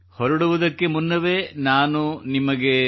ಹೊರಡುವುದಕ್ಕೆ ಮುನ್ನವೇ ನಾನು ನಿಮಗೆ